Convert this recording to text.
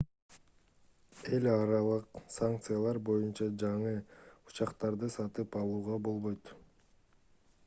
эл аралык санкциялар боюнча жаңы учактарды сатып алууга болбойт